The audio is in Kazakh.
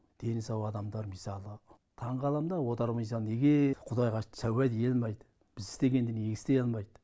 дені сау адамдар мысалы таңқалам да отау құрмаса неге құдай тәубе ете алмайт біз естегенді неге істей алмайт